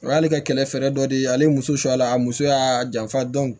O y'ale ka kɛlɛfe dɔ de ye ale ye muso la a muso y'a janfa